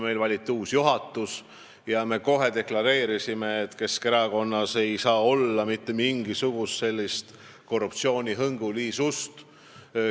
Meil valiti uus juhatus ja me kohe deklareerisime, et Keskerakonnas ei tohi olla vähimatki korruptsioonihõngu.